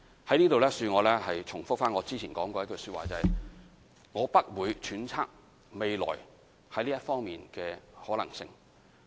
在此，恕我重複早前的說話，就是：我不會揣測未來在這一方面的可能性。